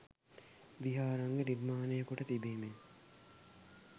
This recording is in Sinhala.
විහාරාංග නිර්මාණය කොට තිබීම ය